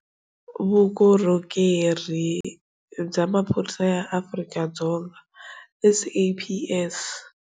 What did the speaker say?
Vukorhokeri bya Maphorisa ya AfrikaDzonga, SAPS.